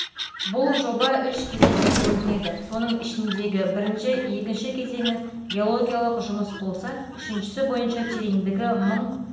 бұл жоба үш кезеңге бөлінеді соның ішіндегі бірінші-екінші кезеңі геологиялық жұмыс болса үшіншісі бойынша тереңдігі мың